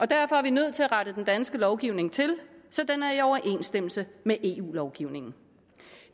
derfor er vi nødt til at rette den danske lovgivning til så den er i overensstemmelse med eu lovgivningen